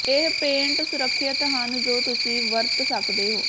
ਇਹ ਪੇਂਟ ਸੁਰੱਖਿਅਤ ਹਨ ਜੋ ਤੁਸੀਂ ਵਰਤ ਸਕਦੇ ਹੋ